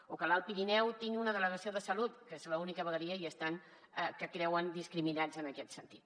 o que l’alt pirineu tingui una delegació de salut que és l’única vegueria i estan creuen discriminats en aquest sentit